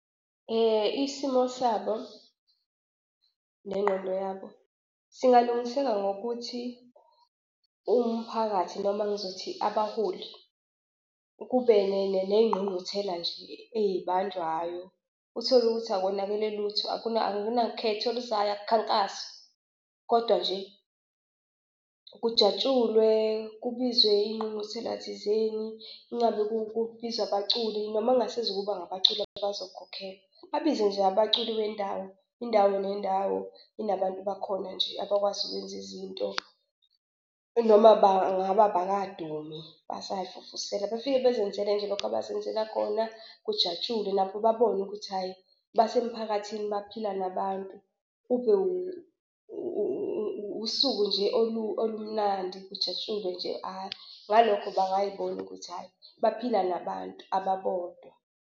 Isimo sabo nengqondo yabo singalungiseka ngokuthi umphakathi noma ngizothi abaholi kube negqungquthela nje eyibanjwayo utholukuthi akonakele lutho akunakhetho oluzayo akukhankaswa kodwa nje kujatshulwe kubizwe ingqungquthela thizeni ingabe kubizwa abaculi noma kungasezukuba abaculi abazokhokhelwa babize nje abaculi bendawo. Indawo nendawo inabantu bakhona nje abakwazi ukwenza izinto noma bangabe bakadumi basayifufusela befike bezenzele nje lokho abazenzela khona kujatshulwe nabo babone ukuthi hhayi basemphakathini baphila nabantu. Ube usuku nje olumnandi kujatshulwe nje . Ngalokho bangayibona ukuthi hhayi baphila nabantu ababodwa.